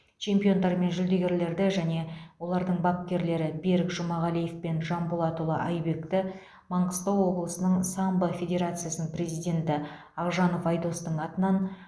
чемпиондар мен жүлдегерлерді және олардың бапкерлері берік жұмағалиев пен жанболатұлы айбекті маңғыстау облысының самбо федерациясының президенті ақжанов айдостың атынан